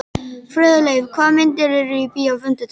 Friðleif, hvaða myndir eru í bíó á fimmtudaginn?